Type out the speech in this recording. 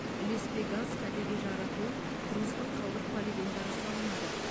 ілеспе газ кәдеге жаратылып тұрмыстық қалдық полигондары салынады